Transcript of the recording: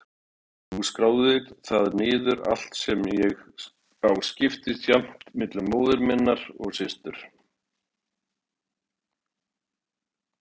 Þú skráir það niður- allt sem ég á skiptist jafnt milli móður minnar og systur